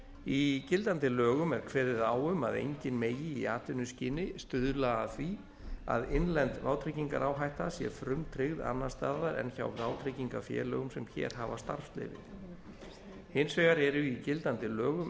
í gildandi lögum er kveðið á um að enginn megi í atvinnuskyni stuðla að því að innlend vátryggingaráhætta sé frumtryggð annars staðar en hjá vátryggingafélögum sem hér hafa starfsleyfi hins vegar eru í gildandi lögum